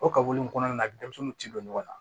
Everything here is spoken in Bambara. O kaburu in kɔnɔna na denmisɛnninw ti don ɲɔgɔn na